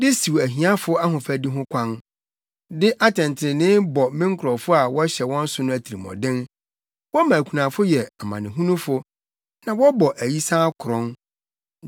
de siw ahiafo ahofadi ho kwan, de atɛntrenee bɔ me nkurɔfo a wɔhyɛ wɔn so no atirimɔden. Wɔma akunafo yɛ amanehunufo na wɔbɔ ayisaa korɔn.